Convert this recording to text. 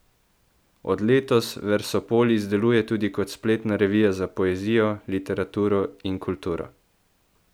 Od letos Versopolis deluje tudi kot spletna revija za poezijo, literaturo in kulturo.